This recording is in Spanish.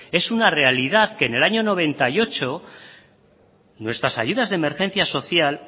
es una realidad que en el año noventa y ocho nuestras ayudas de emergencia social